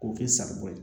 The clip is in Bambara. K'o kɛ saribɔn ye